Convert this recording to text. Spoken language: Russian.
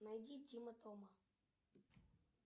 найди тима тома